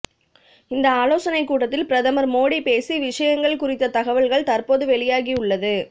இந்த ஆலோசனை கூட்டத்தில் பிரதமர் மோடி பேசி விஷயங்கள் குறித்த தகவல்கள் தற்போது வெளியாகி உள்ளது